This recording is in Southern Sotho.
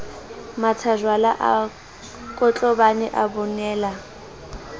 mathajwalo a kotlobane a bonela